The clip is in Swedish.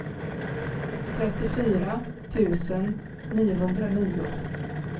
trettiofyra tusen niohundranio